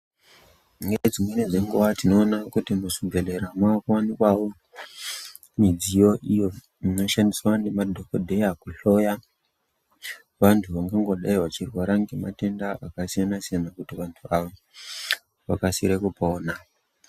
Nedzimweni dzenguva tinoona kuti muzvibhedhlera umu mava kuwani kwavo midziyo iyo inoshandiswa ngemadhokodheya kuhloya vantu vakangodai vachirwara ngematenda akasiyana siyana kuti vantu ava vakasire kupona.